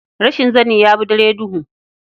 Rashin sani ya fi dare duhu.